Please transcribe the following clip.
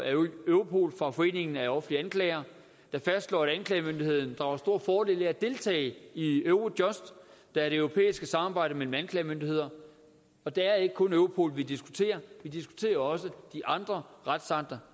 europol fra foreningen af offentlige anklagere der fastslår at anklagemyndigheden drager stor fordel af at deltage i eurojust der er det europæiske samarbejde mellem anklagemyndigheder og det er ikke kun europol vi diskuterer vi diskuterer også de andre retsakter